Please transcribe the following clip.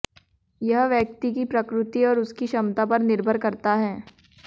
यह व्यक्ति की प्रकृति और उसकी क्षमता पर निर्भर करता है